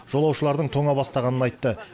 жолаушылардың тоңа бастағанын айтты